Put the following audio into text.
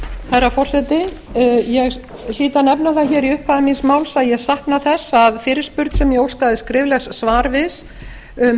herra forseti ég hlýt að nefna það í upphafi míns máls að ég sakna þess að fyrirspurn sem ég óskaði skriflegs svars við um